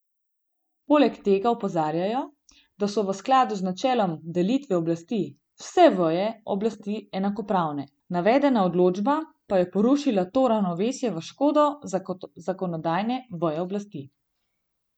Poleg tega opozarjajo, da so v skladu z načelom delitve oblasti vse veje oblasti enakopravne, navedena odločba pa je porušila to ravnovesje v škodo zakonodajne veje oblasti.